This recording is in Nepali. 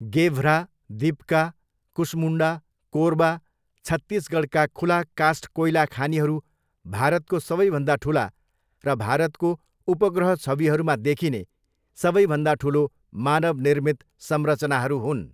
गेभ्रा, दिप्का, कुसमुण्डा, कोरबा, छत्तीसगढका खुला कास्ट कोइला खानीहरू भारतको सबैभन्दा ठुला र भारतको उपग्रह छविहरूमा देखिने सबैभन्दा ठुलो मानव निर्मित संरचनाहरू हुन्।